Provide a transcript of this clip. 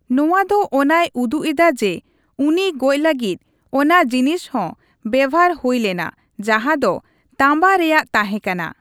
ᱱᱚᱣᱟ ᱫᱚ ᱚᱱᱟᱭ ᱩᱫᱩᱜ ᱮᱫᱟ ᱡᱮ ᱩᱱᱤ ᱜᱚᱡ ᱞᱟᱹᱜᱤᱫ ᱚᱱᱟ ᱡᱤᱱᱤᱥ ᱦᱚᱸ ᱵᱮᱵᱷᱟᱨ ᱦᱩᱭᱞᱮᱱᱟ ᱡᱟᱸᱦᱟ ᱫᱚ ᱛᱟᱸᱵᱟ ᱨᱮᱭᱟᱜ ᱛᱟᱦᱮᱸᱠᱟᱱᱟ ᱾